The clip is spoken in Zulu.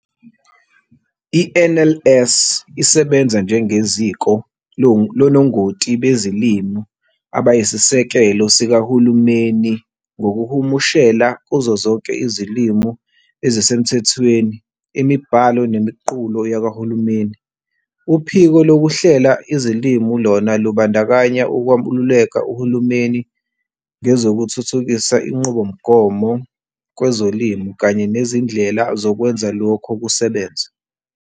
I-NLS isebenza njengeziko lonongoti bezilimi abayisisekelo sikaHulumeni ngokuhumushela kuzo zonke izilimi ezisemthethweni imibhalo nemiqulu yakwaHulumeni. Uphiko lokuhlela izilimi lona lumbandakanya ukwaluleka uhulumeni ngezokuthuthukisa inqubomgomo kwezolimi kanye nezindlela zokwenza lokho kusebenze.